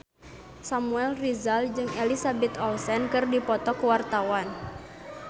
Samuel Rizal jeung Elizabeth Olsen keur dipoto ku wartawan